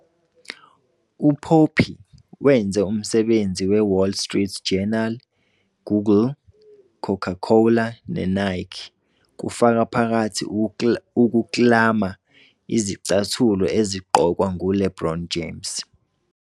UPoppy wenze umsebenzi weWall Street Journal, Google, Coca-Cola, neNike - kufaka phakathi ukuklama izicathulo ezigqokwa nguLeBron James.